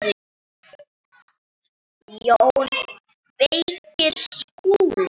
JÓN BEYKIR: Skúli!